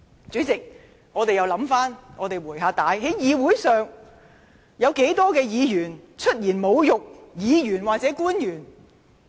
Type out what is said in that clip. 主席，讓我們回想一下，在議會內曾有多少議員出言侮辱其他議員或政府官員呢？